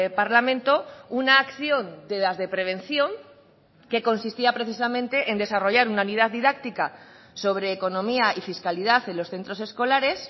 parlamento una acción de las de prevención que consistía precisamente en desarrollar una unidad didáctica sobre economía y fiscalidad en los centros escolares